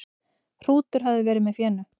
Hrútur hafi verið með fénu.